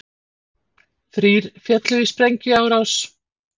Þrír féllu í sprengjuárás